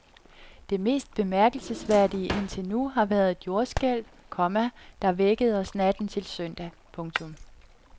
Det mest bemærkelsesværdige indtil nu har været et jordskælv, komma der vækkede os natten til søndag. punktum